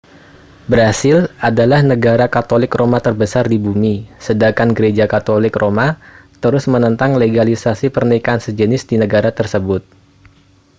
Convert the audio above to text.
brasil adalah negara katolik roma terbesar di bumi sedangkan gereja katolik roma terus menentang legalisasi pernikahan sejenis di negara tersebut